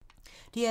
DR2